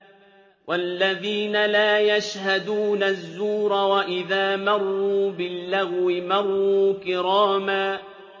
وَالَّذِينَ لَا يَشْهَدُونَ الزُّورَ وَإِذَا مَرُّوا بِاللَّغْوِ مَرُّوا كِرَامًا